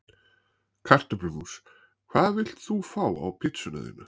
Kartöflumús Hvað vilt þú fá á pizzuna þína?